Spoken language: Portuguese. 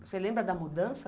Você lembra da mudança?